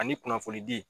Ani kunnafoni di